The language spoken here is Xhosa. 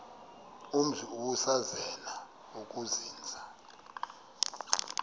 umzi ubusazema ukuzinza